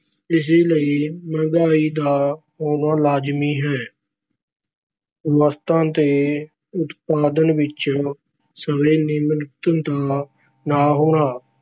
ਇਸ ਲਈ ਮਹਿੰਗਾਈ ਦਾ ਹੋਣਾ ਲਾਜ਼ਮੀ ਹੈ। ਵਸਤਾਂ ਦੇ ਉਤਪਾਦਨ ਵਿੱਚ ਸਵੈ-ਨਿਰਭਰਤਾ ਦਾ ਨਾ ਹੋਣਾ-